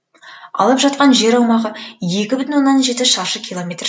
алып жатқан жер аумағы екі бүтін оннан жеті шаршы километр